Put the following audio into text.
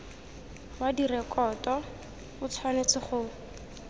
wa direkoto o tshwanetse go